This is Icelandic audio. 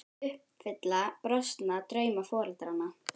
Börnin eiga þá að uppfylla brostna drauma foreldranna.